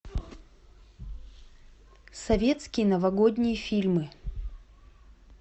советские новогодние фильмы